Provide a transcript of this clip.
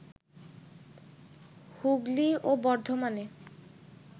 হুগলি ও বর্ধমানে